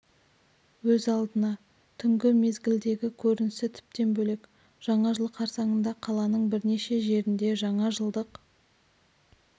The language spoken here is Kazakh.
өз алдына түнгі мезгілдегі көрінісі тіптен бөлек жаңа жыл қарсаңында қаланың бірнеше жерінде жаңа жылдық